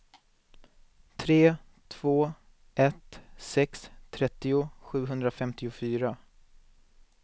tre två ett sex trettio sjuhundrafemtiofyra